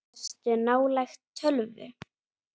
Ertu nálægt tölvu?